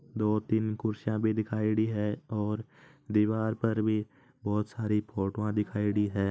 दो तीन कुर्सियाँ भी दिखायेड़ी है और दीवार पर भी बहुत सारी फोटो दिखायेड़ी है।